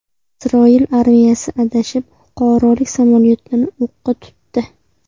Isroil armiyasi adashib fuqarolik samolyotini o‘qqa tutdi.